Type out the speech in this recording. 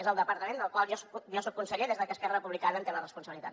és el departament del qual jo soc conseller des que esquerra republicana en té la responsabilitat